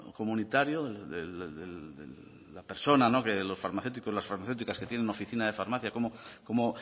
comunitario de la persona que los farmacéuticos y las farmacéuticas que tienen oficina de farmacia cómo